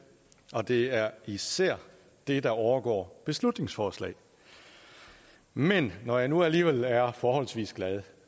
og det er især det der overgår beslutningsforslag men når jeg nu alligevel er forholdsvis glad